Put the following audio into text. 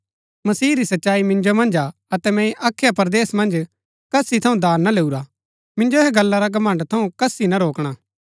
मसीह री सच्चाई मिन्जो मन्ज हा अतै मैंई अखया परदेस मन्ज कसी थऊँ दान ना लैऊरा मिन्जो ऐहा गल्ला रा घमण्ड़ थऊँ कसी ना रोकणा